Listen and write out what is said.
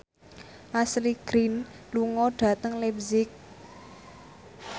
Ashley Greene lunga dhateng leipzig